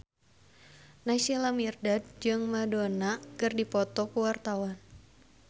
Naysila Mirdad jeung Madonna keur dipoto ku wartawan